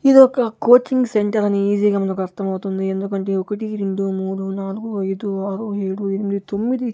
ఇదొక coaching centre అని ఈజీగా మనకు అర్థమవుతుంది ఎందుకంటే ఒకటి రెండు మూడు నాలుగు ఐదు ఆరు ఏడు ఎనిమిది తొమ్మిది --